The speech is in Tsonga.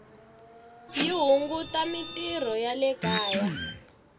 yi hunguta mintirho ya le kaya